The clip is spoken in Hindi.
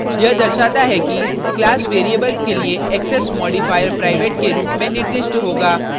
यह दर्शाता है कि class variables के लिए access modifier private के रूप में निर्दिष्ट होगा